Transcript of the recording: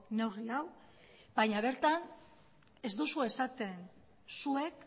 neurri hau baina bertan ez duzue esaten zuek